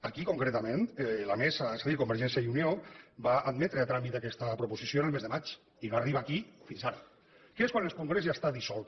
aquí concretament la mesa és a dir convergència i unió va admetre a tràmit aquesta proposició el mes de maig i no arriba aquí fins ara que és quan el congrés ja està dissolt